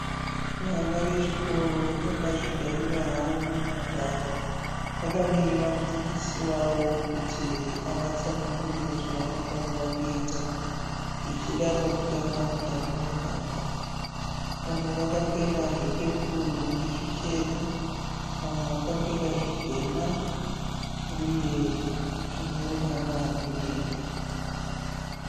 Vana vechikoro vakazvigarira havo munhandare vakamirira mudzidzisi wavo kuti avatsanangurire zvavanofanirwa kuita, zvichida pakutamba mutambo wenhabvu vamwe vakapfeka zvine zvepepuru nezvichena, vamwe vakapfeka zvitema zvine ruvara rwedenga.